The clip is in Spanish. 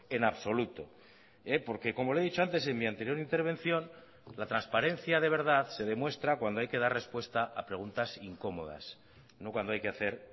en absoluto porque como le he dicho antes en mi anterior intervención la transparencia de verdad se demuestra cuando hay que dar respuesta a preguntas incómodas no cuando hay que hacer